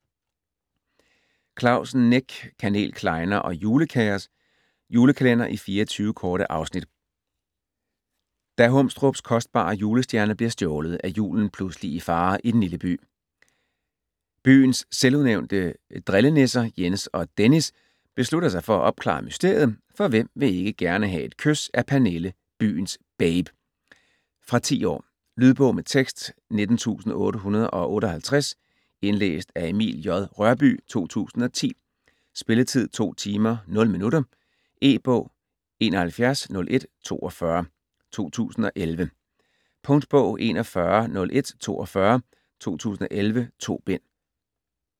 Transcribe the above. Clausen, Nick: Kanel, klejner og julekaos Julekalender i 24 korte afsnit. Da Humstrups kostbare julestjerne bliver stjålet, er julen pludselig i fare i den lille by. Byens selvudnævnte drillenisser, Jens og Dennis, beslutter sig for at opklare mysteriet, for hvem vil ikke gerne have et kys af Pernille, byens babe. Fra 10 år. Lydbog med tekst 19858 Indlæst af Emil J. Rørbye, 2010. Spilletid: 2 timer, 0 minutter. E-bog 710142 2011. Punktbog 410142 2011.2 bind.